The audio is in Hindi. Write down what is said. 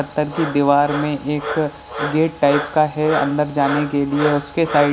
पत्थर की दीवार में एक गेट टाइप का है अंदर जाने के लिए उसके साइड --